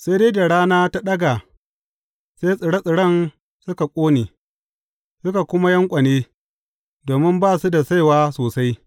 Sai dai da rana ta ɗaga, sai tsire tsiren suka ƙone, suka kuma yanƙwane domin ba su da saiwa sosai.